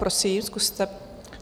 Prosím, zkuste.